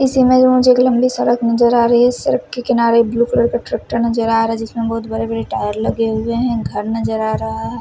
इसी में मुझे एक लम्बी सड़क नज़र आ रही है सड़क के किनारे ब्लू कलर का ट्रैक्टर नज़र आ रहा है जिसमें बहुत बड़े बड़े टायर लगे हुए हैं घर नज़र आ रहा है।